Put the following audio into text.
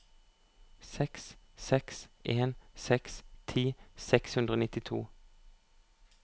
seks seks en seks ti seks hundre og nittito